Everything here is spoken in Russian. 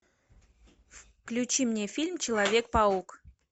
включи мне фильм человек паук